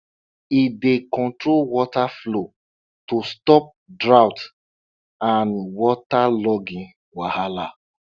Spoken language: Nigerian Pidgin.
e dey control water flow to stop drought and waterlogging wahala